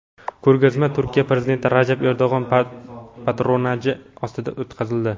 Ko‘rgazma Turkiya prezidenti Rajab Erdo‘g‘on patronaji ostida o‘tkazildi.